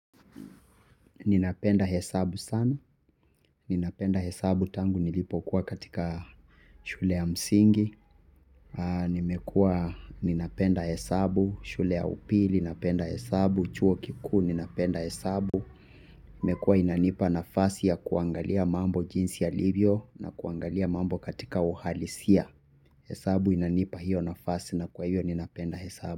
Ninapenda hesabu sana. Ninapenda hesabu tangu nilipokuwa katika shule ya msingi. Nimekua ninapenda hesabu, shule ya upili, napenda hesabu, chuo kiku, ninapenda hesabu. Imekua inanipa nafasi ya kuangalia mambo jinsi yalivyo na kuangalia mambo katika uhalisia. Hesabu inanipa hiyo nafasi na kwa hiyo ninapenda hesabu.